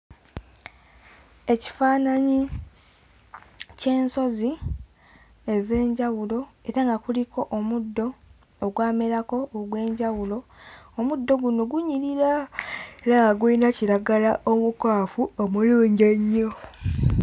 Ekifaananyi ky'ensozi ez'enjawulo era nga kuliko omuddo ogwamerako ogw'enjawulo omuddo guno gunyirira era nga gulina kiragala omukwafu omulungi ennyo.